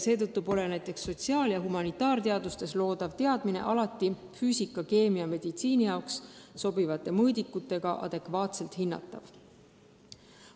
Seetõttu pole sotsiaal- ja humanitaarteadustes loodavad teadmised alati füüsika, keemia, meditsiini jaoks sobivate mõõdikutega adekvaatselt hinnatavad.